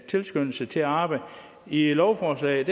tilskyndelse til at arbejde i lovforslaget